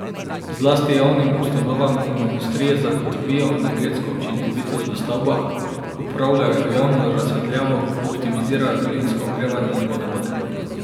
Zlasti javnim ustanovam in industriji zagotovijo energetsko učinkovitost v stavbah, upravljajo javno razsvetljavo, optimizirajo daljinsko ogrevanje in vodovode.